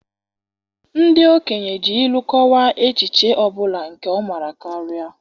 Ndị okenye ji ilu kọwaa echiche ọ bụla nke ọma karịa.